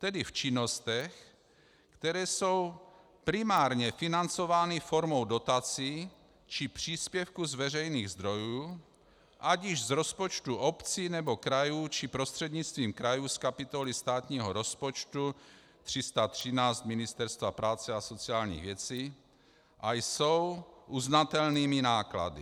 Tedy v činnostech, které jsou primárně financovány formou dotací či příspěvku z veřejných zdrojů, ať již z rozpočtu obcí, nebo krajů, či prostřednictvím krajů z kapitoly státního rozpočtu 313 Ministerstva práce a sociálních věcí, a jsou uznatelnými náklady.